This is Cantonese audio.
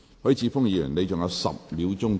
許智峯議員，你還有10秒答辯。